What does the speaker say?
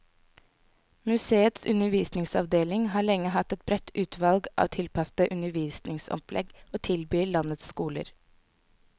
Museets undervisningsavdeling har lenge hatt et bredt utvalg av tilpassede undervisningsopplegg å tilby landets skoler.